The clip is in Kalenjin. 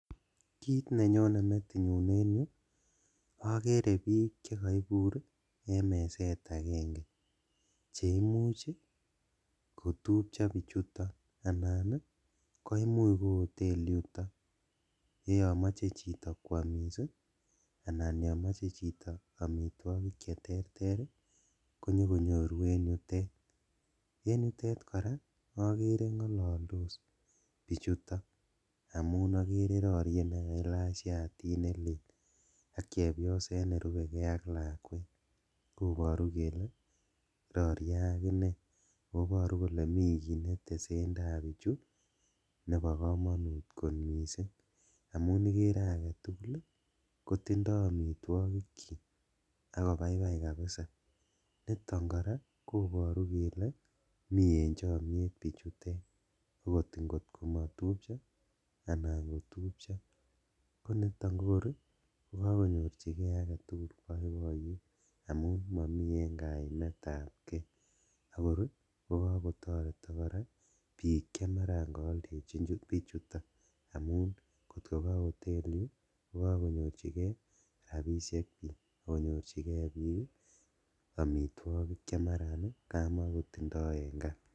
Kit nenyone metinyu en yu okere bik chekoibur en meset agenge cheimuch kotupcho bichuto anan koimuch ko hoteli yuto ye yomoche chito kwomis ii anan yon moche chito omitwogik cheterter ii konyokonyoru en yutet, koraa okere ngololdos bichuto amun okere rorie nekailach shatit nelel ak chepyoset nerubeegee ak lakwet koboru kele rorie akinee, oo iboru kole mi kit netesendaa bichu nebo komonut kot missing' amun ikere aketugul ii kotindo omitwogikchik ak kobaibai kabisa ,niton koraa koboru kele mi en chomiet bichutet okot ingotkomotupcho anan kotupcho, koniton kokor kokokonyorjigee aketugul boiboyet amun momi en kaimetab kee akor kokotoretok bik chemaran kooldechin bichuto amun kot kogo hoteli kogogonyorjigee rabishek bik ak konyorjigee bik omitwogik chemaran kamakotindo en kaa.